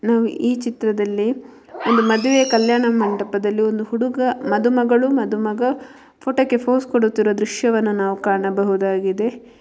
ನಾವು ಈ ಚಿತ್ರದಲ್ಲಿ ಒಂದು ಮದುವೆ ಕಲ್ಯಾಣ ಮಂಟಪದಲ್ಲಿ ಒಂದು ಹುಡುಗ ಮದುಮಗಳು ಮದುಮಗ ಫೋಟೋಕ್ಕೆ ಪೋಸ್ ಕೊಡುತ್ತಿರುವ ದೃಶ್ಯವನ್ನು ನಾವು ಕಾಣಬಹುದಾಗಿದೆ.